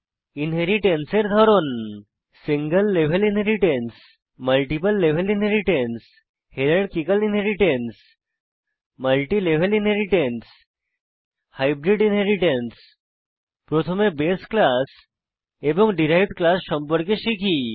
inheritance এর ধরন single level inheritance multiple level inheritance hierarchical inheritance multilevel inheritance hybrid inheritance প্রথমে base class এবং derived class সম্পর্কে শিখি